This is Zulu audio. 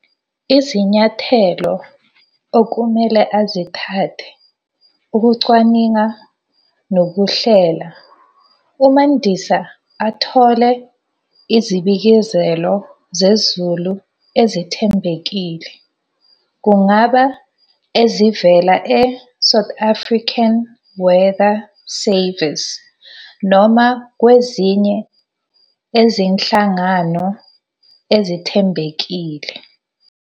Izinyathelo okumele azithathe ukucwaninga nokuhlela, uMandisa athole izibikezelo zezulu ezithembekile. Kungaba ezivela e-South African Weather Service. Noma kwezinye ezinhlangano ezithembekile.